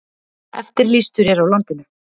Eftirlýstur er á landinu